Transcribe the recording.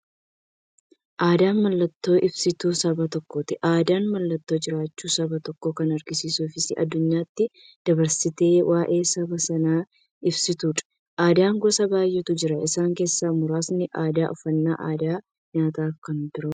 Aadaan mallattoo ibsituu saba tokkooti. Aadaan mallattoo jiraachuu saba tokkoo kan agarsiistufi addunyaatti dabarsitee waa'ee saba sanaa ibsituudha. Aadaan gosa baay'eetu jira. Isaan keessaa muraasni aadaa, uffannaa aadaa nyaataafi kan biroo.